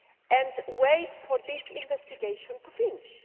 and wait for this investigation to finish.